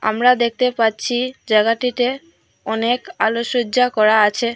আমরা দেখতে পাচ্ছি জায়গাটিতে অনেক আলোকসজ্জা করা আছে।